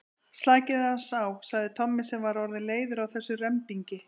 Slakið aðeins á sagði Tommi sem var orðinn leiður á þessum rembingi.